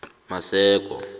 maseko